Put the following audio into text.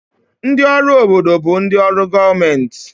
Ndị ọrụ obodo bụ ndị ọrụ gọọmentị